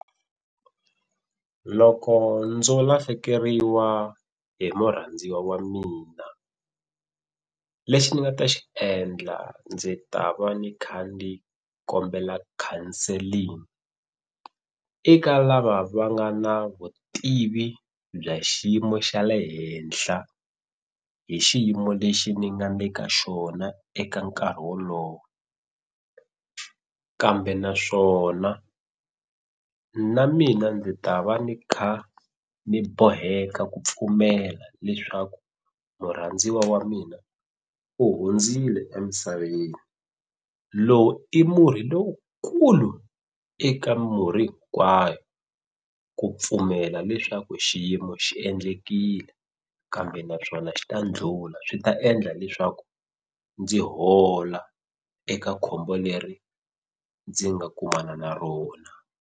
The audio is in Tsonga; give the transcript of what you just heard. Loko ndzo lahlekeriwa hi murhandziwa wa mina lexi ni nga ta xi endla ndzi ta va ni kha ni kombela counselling eka lava va nga na vutivi bya xiyimo xa le henhla hi xiyimo lexi ni nga le ka xona eka nkarhi wolowo kambe naswona na mina ndzi ta va ni kha ni boheka ku pfumela leswaku murhandziwa wa mina u hundzile emisaveni lowu i murhi lowukulu eka murhi hinkwayo ku pfumela leswaku xiyimo xi endlekile kambe naswona xi ta ndlhula swi ta endla leswaku ndzi hola eka khombo leri ndzi nga kumana na rona.